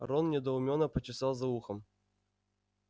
рон недоуменно почесал за ухом